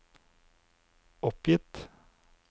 oppgitt